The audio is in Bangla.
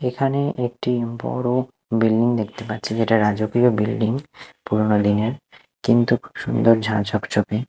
এখানে একটি বড়ো বিল্ডিং দেখতে পাচ্ছি যেটা রাজকীয় বিল্ডিং পুরোনো দিনের কিন্তু সুন্দর ঝা চকচকে।